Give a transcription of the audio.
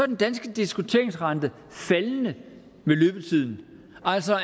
den danske diskonteringsrente faldende med løbetiden altså